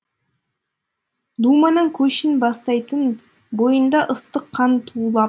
думанның көшін бастайтын бойында ыстық қан тулап